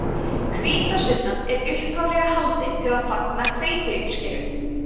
hvítasunnan var upphaflega haldin til að fagna hveitiuppskeru